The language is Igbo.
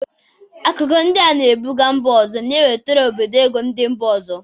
Akụkụ ndị a na-ebụga mba ọzọ na-ewetara obodo ego ndị mba ọzọ.